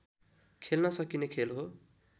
खेल्न सकिने खेल हो